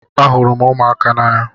Ahụrụ m ụmụaka n'anya.